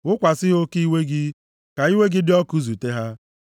Wụkwasị ha oke iwe gị, ka iwe gị dị ọkụ zute ha.